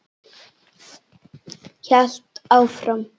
Hélt áfram.